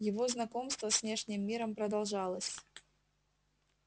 его знакомство с внешним миром продолжалось